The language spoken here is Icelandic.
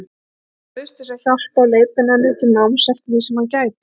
Hann bauðst til að hjálpa og leiðbeina henni til náms eftir því sem hann gæti.